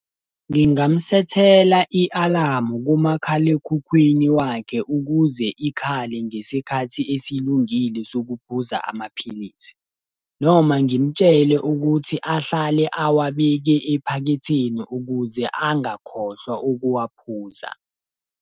Ngingamsethela i-alamu kumakhalekhukhwini wakhe ukuze ikhale ngesikhathi esilungile sokuphuza amaphilisi. Noma ngimtshele ukuthi ahlale awabeke ephaketheni ukuze angakhohlwa ukuwaphuza.